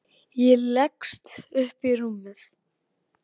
Ég leggst upp í rúmið.